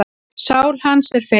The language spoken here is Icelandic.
Sál hans er feig.